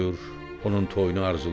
onun toyunu arzulayır.